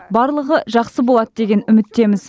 барлығы жақсы болады деген үміттеміз